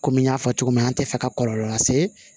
Komi n y'a fɔ cogo min na an tɛ fɛ ka kɔlɔlɔ lase